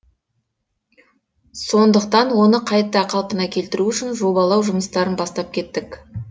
сондықтан оны қайта қалпына келтіру үшін жобалау жұмыстарын бастап кеттік